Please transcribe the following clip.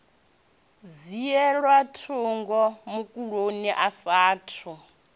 dzhielwa thundu mukolodi a saathu